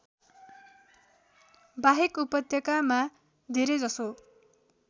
बाहेक उपत्यकामा धेरैजसो